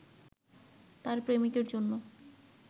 তার প্রেমিকের জন্য